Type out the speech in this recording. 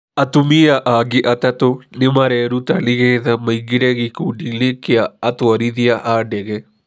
Atumia angĩ atatũ nĩ mareruta nĩgetha maingĩre gĩkundi-inĩ kĩa atwarithia a ndege.